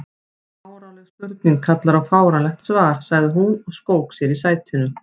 Fáránleg spurning kallar á fáránlegt svar sagði hún og skók sér í sætinu.